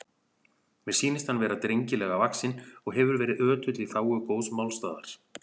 Mér sýnist hann vera drengilega vaxinn og hefur verið ötull í þágu góðs málstaðar.